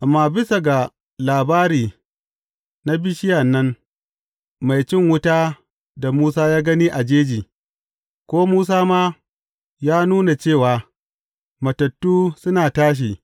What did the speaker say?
Amma bisa ga labari na bishiya nan, mai cin wuta da Musa ya gani a jeji, ko Musa ma, ya nuna cewa, matattu suna tashi.